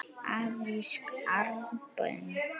Afrísk armbönd?